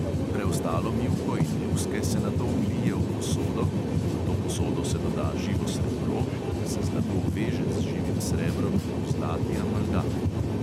Preostalo mivko in luske se nato vlije v posodo, v to posodo se doda živo srebro, ker se zlato veže z živim srebrom v zlati amalgam.